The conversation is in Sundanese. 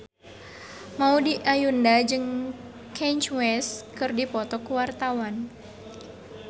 Maudy Ayunda jeung Kanye West keur dipoto ku wartawan